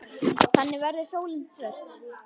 Þannig verður sólin svört.